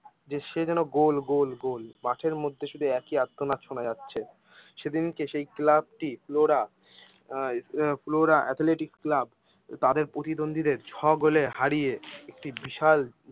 যে সে যেন গোল গোল গোল মাঠের মধ্যে শুধু একই আর্তনাদ শোনা যাচ্ছে। সেদিনকে সেই ক্লাবটি ফ্লোরা আহ ফ্লোরা এথলেটিক ক্লাব তাদের প্রতিদ্বন্দ্বীদের ছয় গোলে হারিয়ে একটি বিশাল